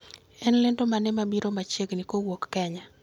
En lendo mane mabiro machiegni kuwuok kenya